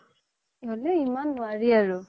হ্'লেও ইমান নোৱাৰি আৰু